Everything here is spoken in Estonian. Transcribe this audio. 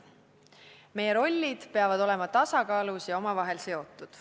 Meie rollid peavad olema tasakaalus ja omavahel seotud.